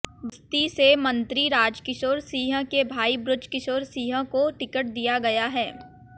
बस्ती से मंत्री राजकिशोर सिंह के भाई बृजकिशोर सिंह को टिकट दिया गया है